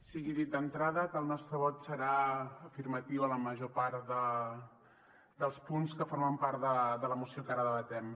sigui dit d’entrada que el nostre vot serà afirmatiu a la major part dels punts que formen part de la moció que ara debatem